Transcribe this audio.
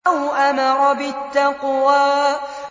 أَوْ أَمَرَ بِالتَّقْوَىٰ